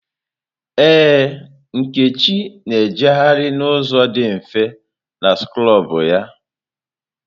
Ee, Nkechi na-ejegharị n'ụzọ dị mfe na skrọbụ ya.